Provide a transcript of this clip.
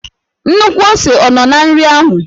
Nnukwu ose ọ nọ na nri ahụ?